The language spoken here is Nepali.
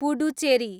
पुडुचेरी